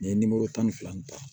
N ye tan ni fila in ta